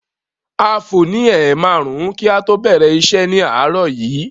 A fò ní ẹ̀ márùn-ún kí a tó bẹ̀rẹ̀ iṣẹ́ ni àárọ̀ yìí.